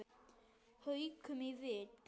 Haukum í vil.